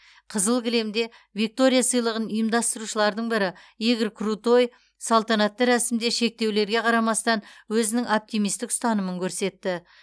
қызыл кілемде виктория сыйлығын ұйымдастырушылардың бірі игорь крутой салтанатты рәсімде шектеулерге қарамастан өзінің оптимисттік ұстанымын көрсетті